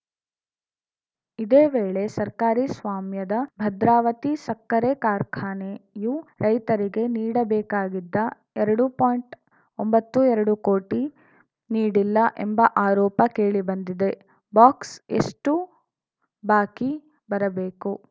ಇದೇ ವೇಳೆ ಸರ್ಕಾರಿ ಸ್ವಾಮ್ಯದ ಭದ್ರಾವತಿ ಸಕ್ಕರೆ ಕಾರ್ಖಾನೆಯೂ ರೈತರಿಗೆ ನೀಡಬೇಕಾಗಿದ್ದ ಎರಡು ಪಾಯಿಂಟ್ ಒಂಬತ್ತು ಎರಡು ಕೋಟಿ ನೀಡಿಲ್ಲ ಎಂಬ ಆರೋಪ ಕೇಳಿ ಬಂದಿದೆ ಬಾಕ್ಸ್‌ ಎಷ್ಟುಬಾಕಿ ಬರಬೇಕು